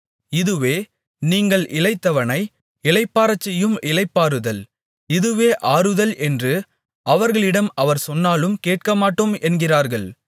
இதுவே நீங்கள் இளைத்தவனை இளைப்பாறச்செய்யும் இளைப்பாறுதல் இதுவே ஆறுதல் என்று அவர்களிடம் அவர் சொன்னாலும் கேட்கமாட்டோம் என்கிறார்கள்